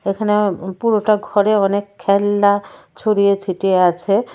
এখানে পুরোটা ঘরে অনেক খেলনা ছড়িয়ে ছিটিয়ে আছে।